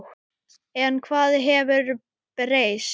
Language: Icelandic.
En hvað hefur breyst?